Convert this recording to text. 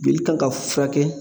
Joli kan ka furakɛ